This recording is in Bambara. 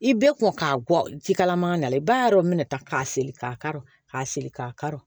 I bɛɛ kɔn ka gɔl jikalaman na i b'a dɔn mɛnɛ ta k'a se k'a kari k'a seri k'a kari